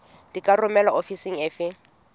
di ka romelwa ofising efe